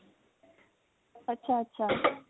ਅੱਛਾ ਅੱਛਾ